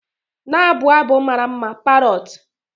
Na-abụ abụ mara mma, parrot.